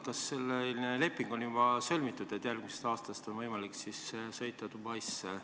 Kas selline leping on juba sõlmitud, et järgmisest aastast on võimalik sõita Dubaisse?